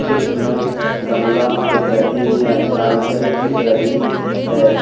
इसमें गमला दिख रहे हैं साइकिल दिख रही है।